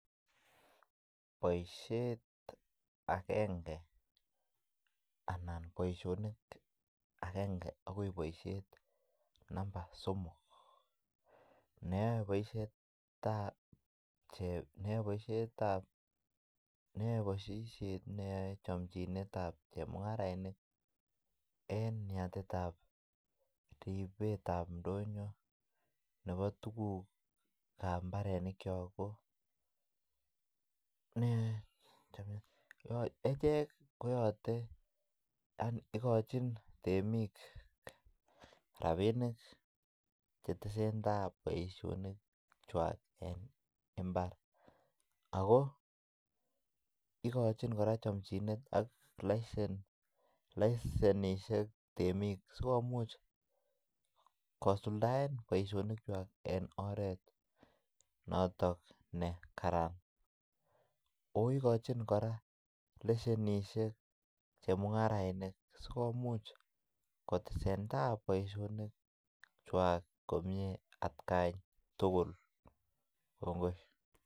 Boisiet agenge anan boisionik agenge agoi boisiet namba somok nee boisietab cheb nee boisietab nee boisiet ne yoe chomchinetab chemungarainik eng yatetab ribetab ndonyo nebo tugukab mbarenikyok ko nee echek ko yote yaani igochin temik rabinik che tesentai boisionikwak eng mbar ago ikochin korak chomchinet AK lisenisiek temik sikomuch kosuldaen boisionikwak eng oret noton ne karan ooh ikochin korak lesenisiek chemungarainik sikomuch kotesentai boisionikwak komie atgai tugul kongoi.